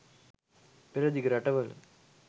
පෙරදිග රටවල